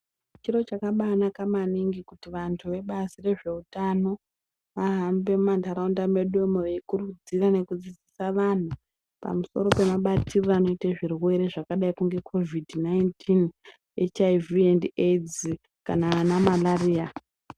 Chiro chakabanaka maningi kuti vantu vebazi rezveutano vahambe muma ntaraunda mwedumo veikurudzira nekudzidzisa vanhu pamusoro pemabatirire anoite zvirwere zvakadai kunge besha mupengo, shuramatongo kana ana marariya.